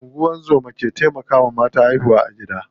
Ungozoma ke taimakawa mata haihuwa a gida.